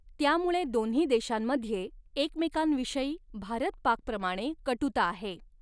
त्यामुळे दोन्ही देशांमध्ये एकमेकांविषयी भारत पाक प्रमाणे कटुता आहे.